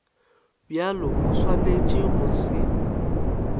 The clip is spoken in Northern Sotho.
bjalo o swanetše go se